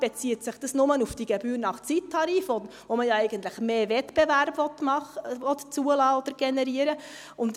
Bezieht sich dieser nur auf die Gebühr nach Zeittarif, wo man ja eigentlich mehr Wettbewerb machen oder zulassen oder generieren will?